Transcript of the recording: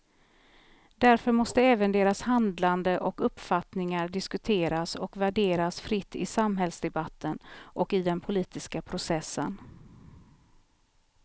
Därför måste även deras handlande och uppfattningar diskuteras och värderas fritt i samhällsdebatten och i den politiska processen.